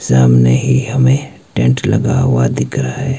सामनेही हमें टेंट लगा हुआ दिख रहा है।